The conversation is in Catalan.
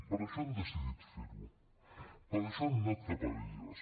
per això han decidit fer ho per això han anat cap a elles